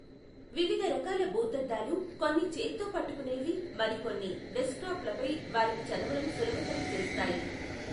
వివిధ రకాల భూతద్దాలు, కొన్ని చేత్తో పట్టుకునేవి మరియు కొన్ని డెస్క్టాప్లపై వారికి చదవడం సులభతరం చేస్తాయి.